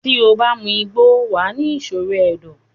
tí o bá mu igbó, wà á ni ìṣòro ẹ̀dọ̀.